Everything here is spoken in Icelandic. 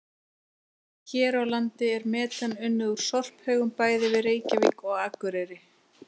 Hér á landi er metan unnið úr sorphaugum bæði við Reykjavík og Akureyri.